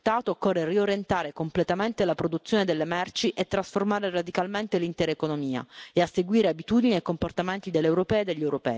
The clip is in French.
nos océans, dans nos sols, dans les organismes et même dans nos assiettes.